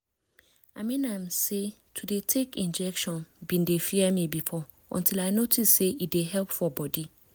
i mean am say to dey take injection been dey fear me before until i notice say e dey help for body